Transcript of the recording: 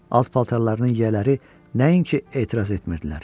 Alt paltarlarının yiyələri nəinki etiraz etmirdilər.